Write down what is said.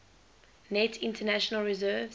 net international reserves